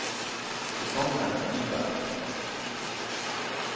Susanne Nyberg